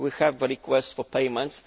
We have requests for payments.